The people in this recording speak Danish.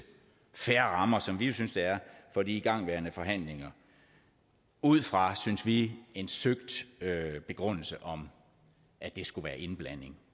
fair rammer som vi jo synes det er for de igangværende forhandlinger ud fra synes vi en søgt begrundelse om at det skulle være indblanding